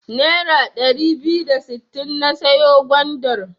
Nera ɗari biyu da sittin na siyo gwandar.